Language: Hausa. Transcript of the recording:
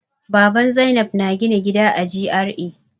Baban Zainab na gina gida a G.R.A.